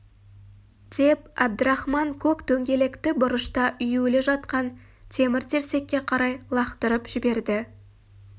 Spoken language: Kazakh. деп әбдірахман көк дөңгелекті бұрышта үюлі жатқан темір-терсекке қарай лақтырып жіберді